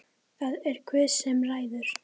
Það er Guð sem ræður.